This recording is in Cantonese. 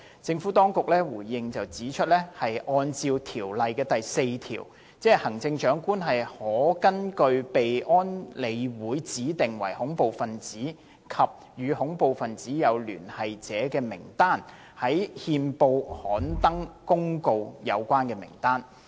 政府當局回應指出，按照《條例》第4條，行政長官可根據被安理會指定為恐怖分子及與恐怖分子有聯繫者的名單，在憲報刊登公告有關名單。